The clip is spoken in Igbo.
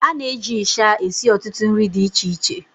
a na-eji ịsha esi ọtụtụ nri di iche iche